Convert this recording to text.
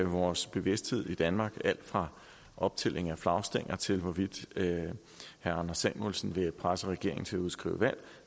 vores bevidsthed i danmark alt fra optælling af flagstænger til hvorvidt herre anders samuelsen vil presse regeringen til at udskrive valg